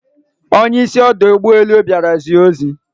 Onye isi ọdọ ụgbọelu bịara zie ozi